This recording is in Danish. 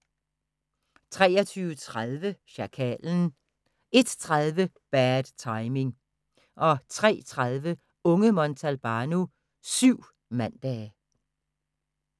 23:30: Sjakalen 01:30: Bad Timing 03:30: Unge Montalbano: Syv mandage